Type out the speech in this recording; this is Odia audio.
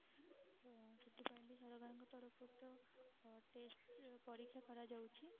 ତ ସେଥିପାଇଁ ବି ସରକାରଙ୍କ ତରଫ ରୁ ତ test ପରୀକ୍ଷା କରାଯାଉଛି